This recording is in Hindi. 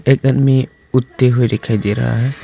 एक आदमी हुए दिखाई दे रहा है।